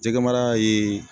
Jɛgɛmara ye